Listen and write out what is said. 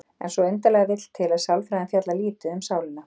En svo undarlega vill til að sálfræðin fjallar lítið um sálina.